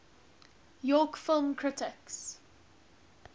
york film critics